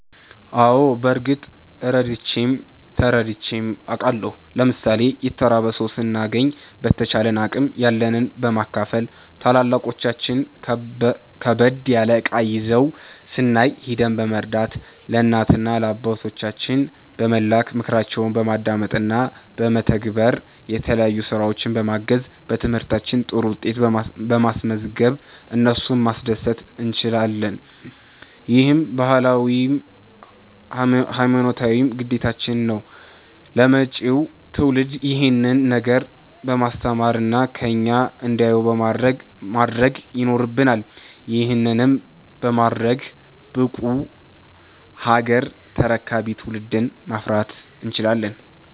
አዎ በርግጥ ረድቼም ተረድቼም አቃለሁ። ለምሣሌ የተራበ ሠው ስናገኝ በተቻለን አቅም ያለንን በማካፈል፣ ታላላቆቻችን ከበድ ያለ እቃ ይዘው ስናይ ሂደን በመርዳት፣ ለእናት ለአባቶቻችን በመላክ፣ ምክራቸውን በማዳመጥ እና በመተግበር፣ የተለያዩ ስራዎች በማገዝ፣ በትምህርታችን ጥሩ ውጤት በማስዝገብ እነሱን ማስደሰት እንችላለን። ይህም ባህላዊም ሀይማኖታዊም ግዴታችን ነው። ለመጪው ትውልድ ይሄንን ነገር በማስተማር እና ከኛ እንዲያዩ ማድረግ ይኖረብናል። ይህንንም በማድረግ ብቁ ሀገር ተረካቢ ትውልድን ማፍራት እንችላለን።